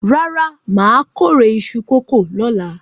Rárá, mà á kórè iṣu kòkó lọ́la.